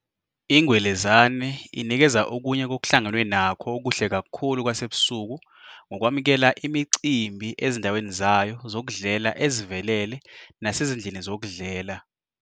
I-Ngwelezane inikeza okunye kokuhlangenwe nakho okuhle kakhulu kwasebusuku ngokwamukela imicimbi ezindaweni zayo zokudlela ezivelele nasezindlini zokudlela.